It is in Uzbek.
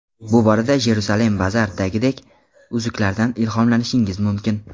Bu borada JerusalemBazar’dagidek uzuklardan ilhomlanishingiz mumkin.